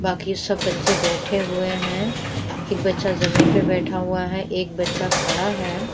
बाकी सब बच्चे बैठे हुए हैं एक बच्चा ज़मीन पे बैठा हुआ है एक बच्चा खड़ा है।